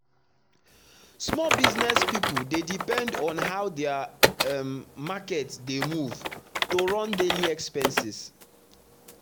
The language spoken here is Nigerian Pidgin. small business people dey depend on how their um market dey move to run daily expenses.